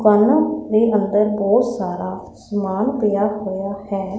ਦੁਕਾਨਾਂ ਦੇ ਅੰਦਰ ਉਹ ਸਾਰਾ ਸਮਾਨ ਪਿਆ ਹੋਇਆ ਹੈ।